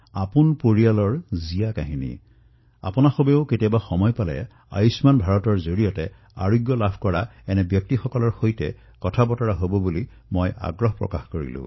আপোনালোকক মই আহ্বান জনাইছো যে কেতিয়াবা সময় পালে এনে ব্যক্তিৰ সৈতে নিশ্চয় কথা পাতিব যিয়ে আয়ুষ্মান ভাৰত যোজনাৰ অধীনত নিজৰ চিকিৎসা কৰাইছে